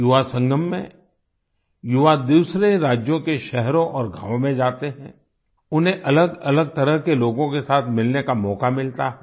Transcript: युवासंगम में युवा दूसरे राज्यों के शहरों और गावों में जाते हैं उन्हें अलगअलग तरह के लोगों के साथ मिलने का मौका मिलता है